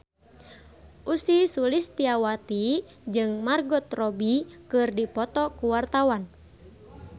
Ussy Sulistyawati jeung Margot Robbie keur dipoto ku wartawan